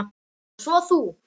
Og svo þú.